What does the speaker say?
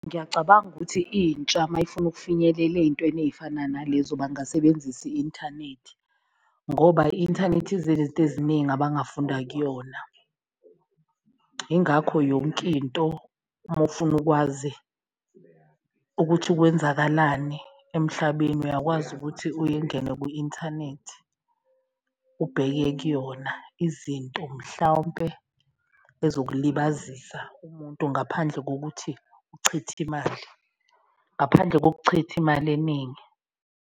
Ngiyacabanga ukuthi intsha mayifuna ukufinyelela eyintweni eyifana nalezo bangasebenzisa i-inthanethi ngoba i-inthanethi ize nezinto eziningi abangafunda kuyona, ingakho yonkinto uma ufuna ukwazi ukuthi kwenzakalani emhlabeni. Uyakwazi ukuthi kwi-inthanethi ubheke kuyona izinto mhlawumpe ezokulibazisa umuntu, ngaphandle kokuthi uchithe imali, ngaphandle kokuchitha imali eningi.